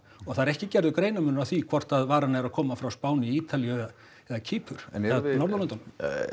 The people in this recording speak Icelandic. og það er ekki gerður greinarmunur á því hvort að varan er að koma frá Spáni Ítalíu eða Kýpur eða Norðurlöndunum